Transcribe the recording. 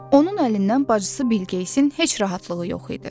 Onun əlindən bacısı Bilqeyisin heç rahatlığı yox idi.